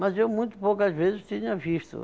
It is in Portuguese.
Mas eu muito poucas vezes tinha visto.